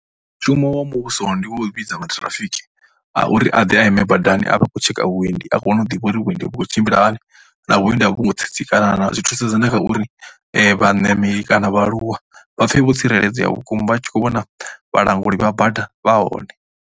Mushumo wa muvhuso ndi wo u vhidza maṱhirafiki a uri a ḓe a ime badani a vha a khou tsheka vhuendi. A kone u ḓivha uri vhuendi vhu khou tshimbila hani na vhuendi a vho ngo tsitsikana na, zwi thusedza na kha uri vhaṋameli kana vhaaluwa vha pfhe vho tsireledzea vhukuma a tshi khou vhona vhalanguli vha bada vha hone.